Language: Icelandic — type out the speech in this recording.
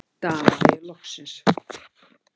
stamaði ég loksins.